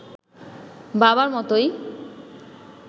বাবার মতোই